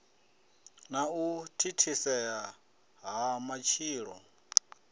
na u thithisea ha matshilo